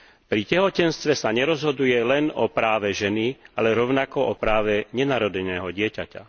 Pri tehotenstve sa nerozhoduje len o práve ženy, ale rovnako o práve nenarodeného dieťaťa.